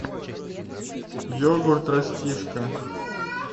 йогурт растишка